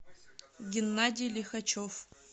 геннадий лихачев